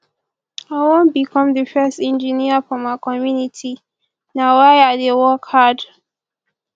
i wan become the first engineer for my community na why i dey work hard